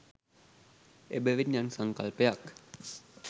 එබැවින් යම් සංකල්පයක්